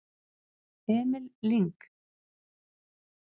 Emil Lyng